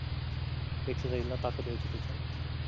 exercise ला ताकत यायची त्याच्याने